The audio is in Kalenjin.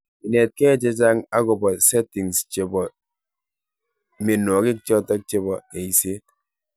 Inetkei che chang' akopa settings chebo mianwokik chotok chebo eiset.